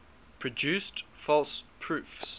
produced false proofs